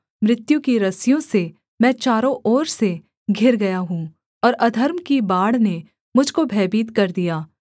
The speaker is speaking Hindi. मृत्यु की रस्सियों से मैं चारों ओर से घिर गया हूँ और अधर्म की बाढ़ ने मुझ को भयभीत कर दिया